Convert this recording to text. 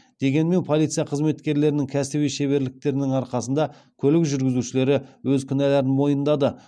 дегенмен полиция қызметкерлерінің кәсіби шеберліктерінің арқасында көлік жүргізушілері өз кінәларын мойындады